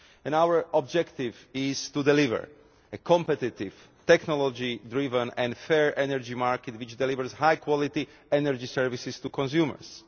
Our objective is to deliver a competitive, technology driven and fair energy market which delivers high quality energy services to consumers.